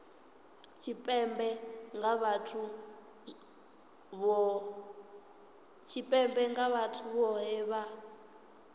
tshipembe nga vhathu vhohe vha